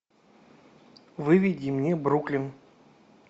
выведи мне бруклин